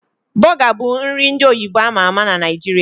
Bọga bụ nri ndị oyibo ama ama na Naijiria